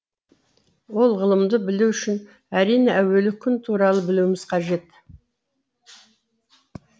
ол ғылымды білу үшін әрине әуелі күн туралы білуіміз қажет